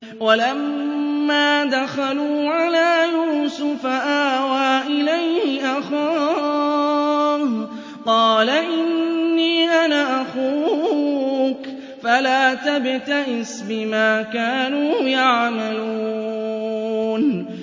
وَلَمَّا دَخَلُوا عَلَىٰ يُوسُفَ آوَىٰ إِلَيْهِ أَخَاهُ ۖ قَالَ إِنِّي أَنَا أَخُوكَ فَلَا تَبْتَئِسْ بِمَا كَانُوا يَعْمَلُونَ